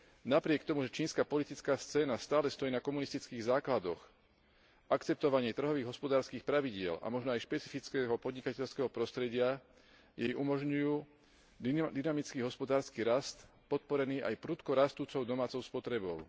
Napriek tomu, že čínska politická scéna stale stojí na komunistických základoch, akceptovanie trhových hospodárskych pravidiel a možno aj špecifického podnikateľského prostredia jej umožňujú dynamický hospodársky rast podporený aj prudko rastúcou domácou spotrebou.